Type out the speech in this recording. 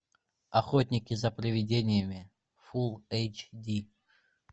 охотники за приведениями фулл эйч ди